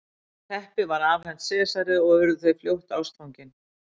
Teppið var afhent Sesari og urðu þau fljótt ástfangin.